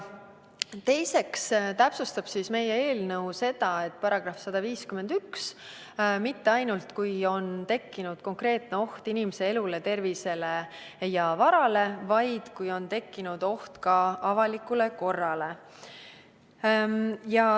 Teiseks täpsustab meie eelnõu seda, et § 151 ei rakendu mitte ainult siis, kui on tekkinud konkreetne oht inimese elule, tervisele või varale, vaid ka siis, kui on tekkinud oht avalikule korrale.